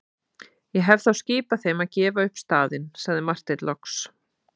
Ég hef þá skipað þeim að gefa upp staðinn, sagði Marteinn loks.